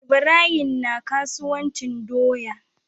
Ibrahim na kasuwan cin doya